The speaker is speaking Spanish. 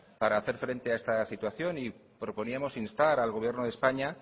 para hacer frente a esta situación y proponíamos instar al gobierno de españa